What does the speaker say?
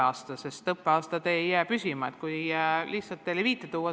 Alati on käimas mingi õppeaasta.